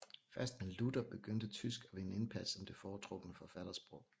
Først med Luther begyndte tysk at vinde indpas som det foretrukne forfattersprog